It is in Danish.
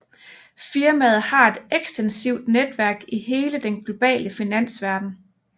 Firmaet har et ekstensivt netværk i hele den globale finansverden